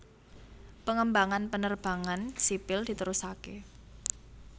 Pengembangan penerbangan sipil diterusaké